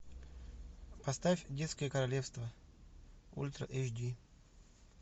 поставь детское королевство ультра эйч ди